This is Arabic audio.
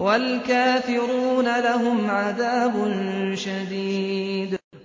وَالْكَافِرُونَ لَهُمْ عَذَابٌ شَدِيدٌ